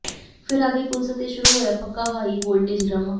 ਫਿਰ ਆ ਗਈ ਪੁਲਿਸ ਅਤੇ ਸ਼ੁਰੂ ਹੋਇਆ ਪੱਕਾ ਹਾਈ ਵੋਲਟੇਜ ਡਰਾਮਾ